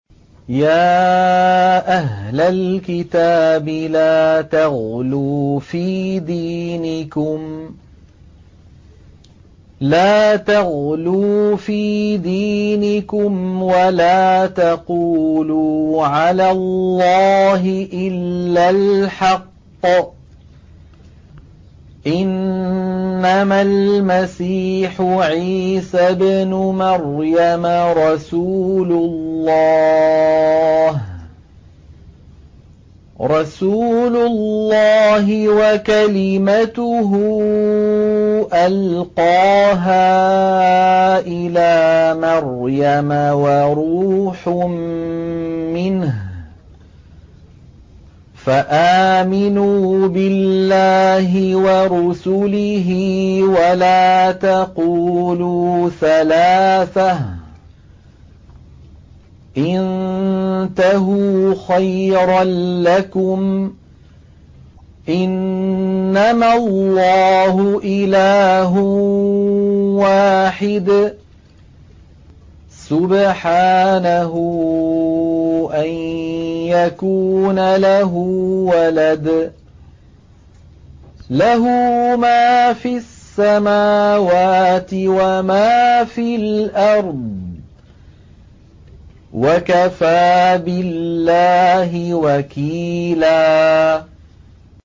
يَا أَهْلَ الْكِتَابِ لَا تَغْلُوا فِي دِينِكُمْ وَلَا تَقُولُوا عَلَى اللَّهِ إِلَّا الْحَقَّ ۚ إِنَّمَا الْمَسِيحُ عِيسَى ابْنُ مَرْيَمَ رَسُولُ اللَّهِ وَكَلِمَتُهُ أَلْقَاهَا إِلَىٰ مَرْيَمَ وَرُوحٌ مِّنْهُ ۖ فَآمِنُوا بِاللَّهِ وَرُسُلِهِ ۖ وَلَا تَقُولُوا ثَلَاثَةٌ ۚ انتَهُوا خَيْرًا لَّكُمْ ۚ إِنَّمَا اللَّهُ إِلَٰهٌ وَاحِدٌ ۖ سُبْحَانَهُ أَن يَكُونَ لَهُ وَلَدٌ ۘ لَّهُ مَا فِي السَّمَاوَاتِ وَمَا فِي الْأَرْضِ ۗ وَكَفَىٰ بِاللَّهِ وَكِيلًا